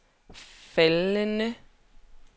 faldende